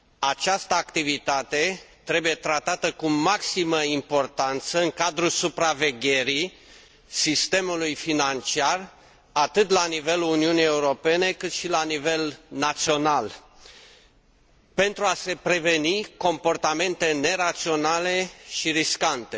Această activitate trebuie tratată cu maximă importanță în cadrul supravegherii sistemului financiar, atât la nivelul Uniunii Europene, cât și la nivel național, pentru a se preveni comportamente neraționale și riscante.